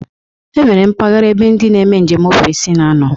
E nwere mpaghara ebe ndị na-eme njem ofesi na-anọ.